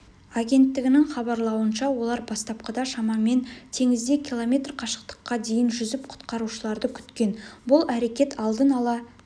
агенттігінің хабарлауынша олар бастапқыда шамамен теңізде км қашықтыққа дейін жүзіп құтқарушыларды күткен бұл әрекет алдын ала